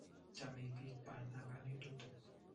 Chomei biik paan ak konetutik.